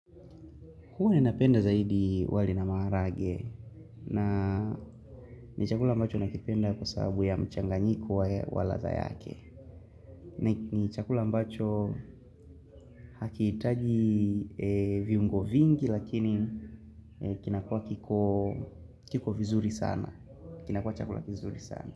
Hua ni napenda zaidi wali na maharage na ni chakula ambacho nakipenda kwa saabu ya mchanganyiko wa waladha yake. Ni chakula ambacho hakiitaji viungo vingi lakini kinakua kiko vizuri sana. Kinakua chakula vizuri sana.